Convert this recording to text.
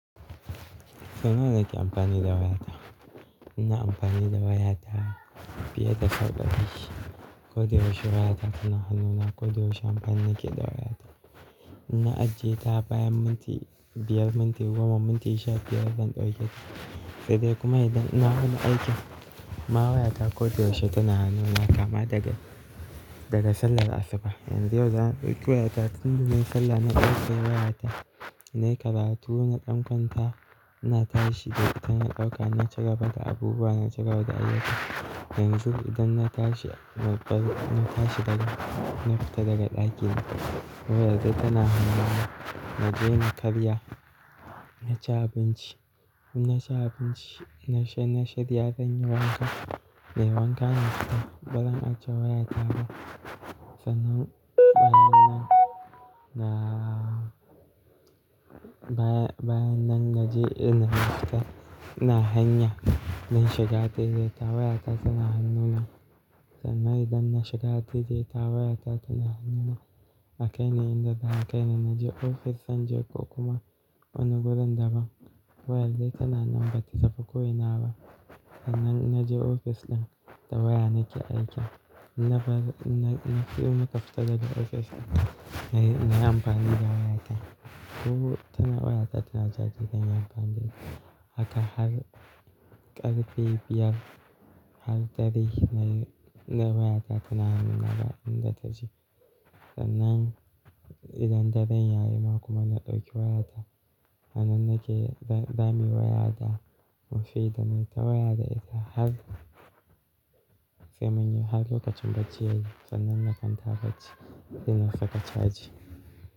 Sau nawa nake amfani da wayata. Ina amfani da wayata fiye da sau ɗari. Ko da yaushe wayata tana hannuna, ko da yaushe amfanin yake da wayata. Ina ajiye ta bayan minti biyar, minti goma, minti sha biyar zan ɗauke ta. Sai dai kuma idan ina wani aiki, ma wayata ko da yaushe tana hannuna kama daga, daga sallar asuba. Yanzu yau zan ɗauki wayata tun da nayi sallah na ɗauki wayata, nayi karatu, na ɗan kwanta, ina tashi dai ita na ɗauka, na ci gabatar abubuwa, na ci gaba da ayyukata. Yanzu idan na tashi in ɗan. Na tashi bara, na fita daga ɗakina, wayata tana hannuna. Naje na karya, na ci abinci. In na ci abinci, na sha, na shairya zan yi wanka, dai wanka na fita, bazan ajiye wayata ba. Sannan bayan nan na, na baya, bayan nan naje ina fita, ina hanya, mun shiga adai dai ta wayata tana hannuna. Sannan idan na shiga adai dai ta wayata tana hannuna. A kaina inda za'a kaina naje ofis zan je ko kuma wani gurin daban, wayata tana nan bata tafi ko ina ba. Sannan naje ofis ɗin ta waya nake aiki. Inna fita, ina, inna fito na fita daga ofis ɗin na yi, na amfani da wayata. Ubu wayata tana caji zan yi amfani da ita. Haka har ƙarfe biyar har ɗari na yi, dai wayata tana hannuna ba idan ta ji. Sannan idan dare ya yi makuma na ɗauki wayata. Hannan nake da, dami wayata mafi damina ta waya ita har sai munyi har lokacin baci yayi sannan na kwanta bacci ina saka caji.